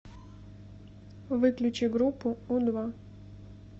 выключи группу у два